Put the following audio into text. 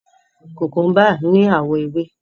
Kukumba ni awọ ewe